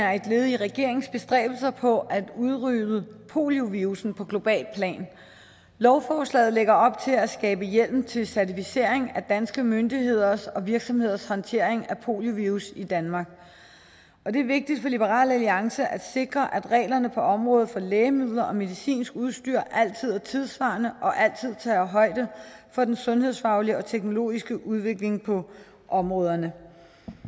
er et led i regeringens bestræbelser på at udrydde poliovirussen på globalt plan lovforslaget lægger op til at skabe hjemmel til certificering af danske myndigheders og virksomheders håndtering af poliovirus i danmark det er vigtigt for liberal alliance at sikre at reglerne på området for lægemidler og medicinsk udstyr altid er tidssvarende og altid tager højde for den sundhedsfaglige og teknologiske udvikling på områderne